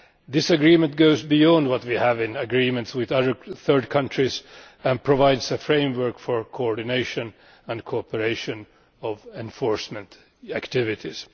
The agreement goes beyond what we have in agreements with other third countries and provides a framework for coordination and cooperation in enforcement activities.